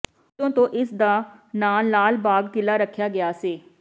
ਉਦੋਂ ਤੋਂ ਇਸਦਾ ਨਾਂ ਲਾਲਬਾਗ ਕਿਲ੍ਹਾ ਰੱਖਿਆ ਗਿਆ ਸੀ